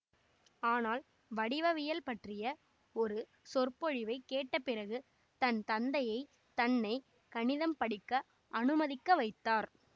ஆனால் வடிவவியல் பற்றிய ஒரு சொற்பொழிவை கேட்டபிறகு தன் தந்தையை தன்னை கணிதம் படிக்க அனுமதிக்கவைத்தார்